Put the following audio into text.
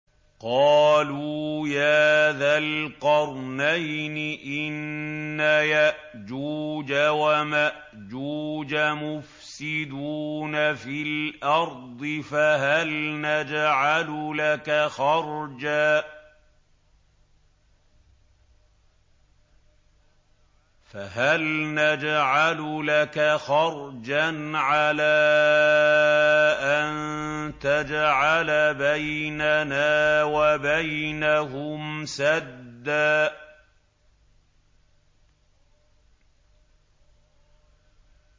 قَالُوا يَا ذَا الْقَرْنَيْنِ إِنَّ يَأْجُوجَ وَمَأْجُوجَ مُفْسِدُونَ فِي الْأَرْضِ فَهَلْ نَجْعَلُ لَكَ خَرْجًا عَلَىٰ أَن تَجْعَلَ بَيْنَنَا وَبَيْنَهُمْ سَدًّا